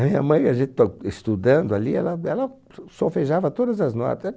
A minha mãe, a gente to estudando ali, ela ela s solfejava todas as nota.